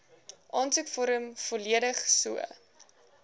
aansoekvorm volledig so